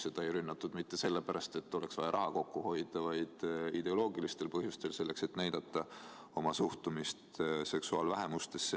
Seda ei rünnatud mitte sellepärast, et oleks vaja raha kokku hoida, vaid rünnati ideoloogilistel põhjustel, selleks, et näidata oma suhtumist seksuaalvähemustesse.